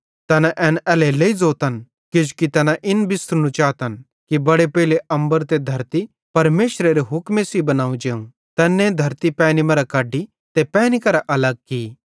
तैना एन एल्हेरेलेइ ज़ोतन किजोकि तैना इन बिस्सरनू चातन कि बड़े पेइले अम्बर ते धरती परमेशरेरे हुक्मे सेइं बनाव जेव तैन्ने धरती पैनी मरां कढी ते पैनी करां अलग की